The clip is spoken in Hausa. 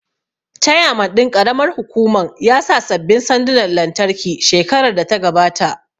Chairman ɗin ƙaramar hukuman ya sa sabbin sandunan lantarki shekarar da ta gabata